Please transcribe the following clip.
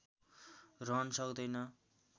रहन सक्दैन